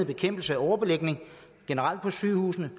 bekæmpelse af overbelægning generelt på sygehusene